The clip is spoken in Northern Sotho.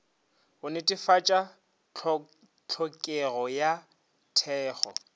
go netefatša tlhokego ya thekgo